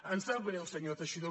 em sap greu senyor teixidó